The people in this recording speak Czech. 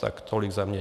Tak tolik za mne.